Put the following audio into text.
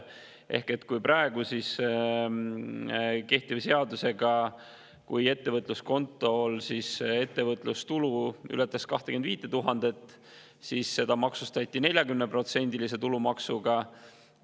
Kehtiva seaduse kohaselt, kui ettevõtluskontol ületas ettevõtlustulu 25 000, siis seda maksustati 40%-lise tulumaksuga.